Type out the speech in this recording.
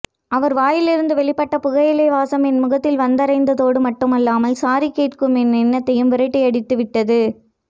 அவர் வாயிலிருந்து வெளிப்பட்ட புகையிலை வாசம் என் முகத்தில் வந்தறைந்ததோடு மட்டுமில்லாமல் சாரி கேட்கும் என் எண்ணத்தையும் விரட்டியடித்து விட்டது